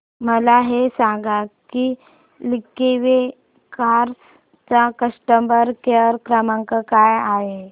मला हे सांग की लिंकवे कार्स चा कस्टमर केअर क्रमांक काय आहे